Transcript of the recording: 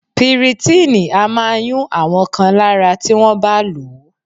Piritíìnì a máa yún àwọn kan lára tí wọ́n bá lò ó